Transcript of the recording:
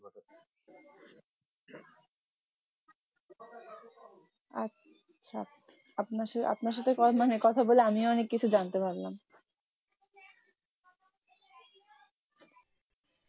আচ্ছা আপনার সাথে আপনার সাথে কথা বলে আমিও অনেক কিছু জানতে পারলাম